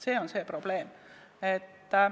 See on see probleem.